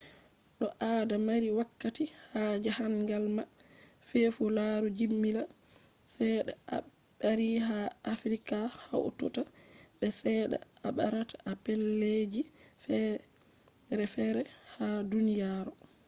to ado mari wakkati ha jahangal ma tefu laru jimila chede a bari ha afirika hautata be ceede a barata a pellel ji ferefere ha duniyaro